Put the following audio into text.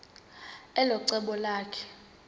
elo cebo lakhe